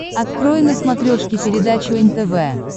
открой на смотрешке передачу нтв